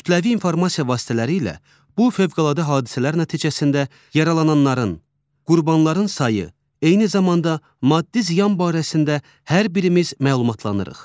Kütləvi informasiya vasitələri ilə bu fövqəladə hadisələr nəticəsində yaralananların, qurbanların sayı, eyni zamanda maddi ziyan barəsində hər birimiz məlumatlanırıq.